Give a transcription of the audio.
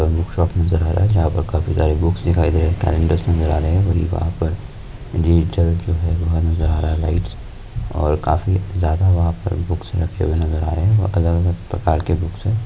Book shop नजर आ रहा है जहा पर काफी सारे बुकस दिखाई दे रहे है कलेंडरस नजर आ रहे है वही वहां पर जो है लाइटस और काफी जादा वहां पर बुकस रखे नजर आ रहे है बहुत अलग अलग प्रकार के बुक्स है।